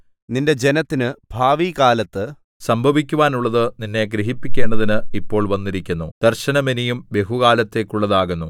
നിന്റെ ജനത്തിന് ഭാവികാലത്ത് സംഭവിക്കുവാനുള്ളത് നിന്നെ ഗ്രഹിപ്പിക്കേണ്ടതിന് ഇപ്പോൾ വന്നിരിക്കുന്നു ദർശനം ഇനിയും ബഹുകാലത്തേക്കുള്ളതാകുന്നു